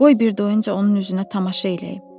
Qoy bir doyunca onun üzünə tamaşa eləyim.